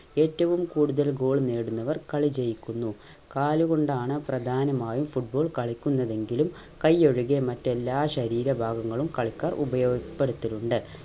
ഏറ്റവും കൂടുതൽ goal നേടുന്നവർ കളി ജയിക്കുന്നു കാല് കൊണ്ടാണ് പ്രധാനമായും football കളിക്കുന്നതെങ്കിലും കൈ ഒഴികെ മറ്റെല്ലാ ശരീരഭാഗങ്ങളും കളിക്കാർ ഉപയോഗപ്പെടുത്തലുണ്ട്